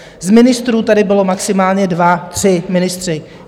Z ministrů tady byli maximálně dva, tři ministři.